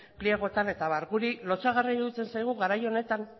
pliegoetan eta abar guri lotsagarria iruditzen zaigu garai honetan